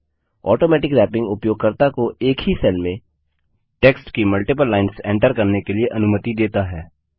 automatic wrapping उपयोगकर्ता को एक ही सेल में टेक्स्ट की मल्टिपल लाइन्स एंटर करने के लिए अनुमति देता है